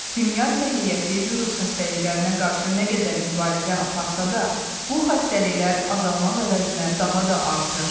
Dünya səhiyyəsi virus xəstəliklərinə qarşı nə qədər mübarizə aparsa da, bu xəstəliklər azalmaq əvəzinə daha da artır.